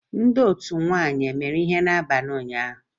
Ndị otu ụmụnwanyị emere ihe n'abalị ụnyanhụ?